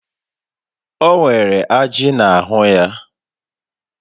O nwere ajị n'ahụ ya niile